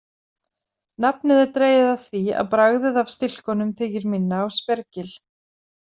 Nafnið er dregið af því að bragðið af stilkunum þykir minna á spergil.